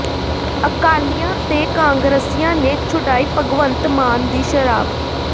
ਅਕਾਲੀਆਂ ਤੇ ਕਾਂਗਰਸੀਆਂ ਨੇ ਛੁਡਾਈ ਭਗਵੰਤ ਮਾਨ ਦੀ ਸ਼ਰਾਬ